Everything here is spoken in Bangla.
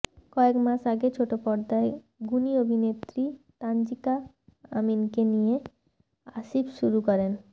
কয়েক মাস আগে ছোটপর্দার গুণী অভিনেত্রী তানজিকা আমিনকে নিয়ে আসিফ শুরু করেন